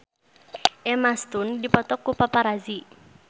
Emma Stone dipoto ku paparazi